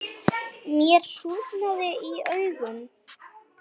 Mér súrnaði í augum.